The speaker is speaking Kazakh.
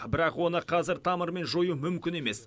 бірақ оны қазір тамырымен жою мүмкін емес